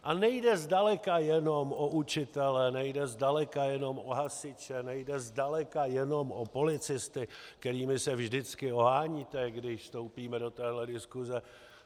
A nejde zdaleka jenom o učitele, nejde zdaleka jenom o hasiče, nejde zdaleka jenom o policisty, kterými se vždycky oháníte, když vstoupíme do téhle diskuse.